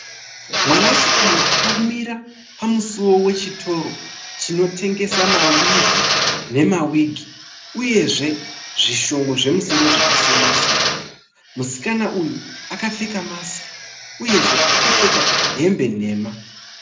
Mwanasikana akamira pamusiwo wechitoro chinotengesa mawivhi nemawigi, uyezve zvishongo zvemusoro zvakasiyana siyana. Musikana uyu akapfeka masiki uyezve akapfeka hembe nhema.